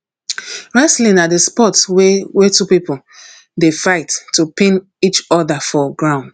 wrestling na di sport wey wey two pipo dey fight to pin eachoda for ground